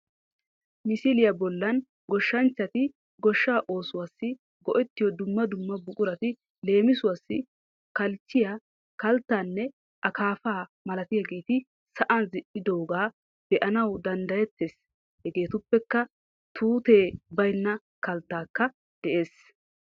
Misiliya bollan goshshanchchati goshshaa oosuwassi go'ettiyo dumma dumma buqurati leemisuwassi kalchchiya, kalttaanne akaafaa malatiyageeti sa'an zin'idoogaa be'anawu danddayettees Hegeetuppekka tuutee baynna kalttaykka dees